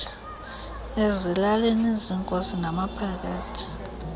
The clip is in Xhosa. ezilalini ziinkosi namaphakathi